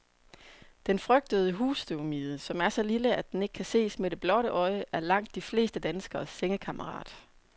Den frygtede husstøvmide, som er så lille, at den ikke kan ses med det blotte øje, er langt de fleste danskeres sengekammerat.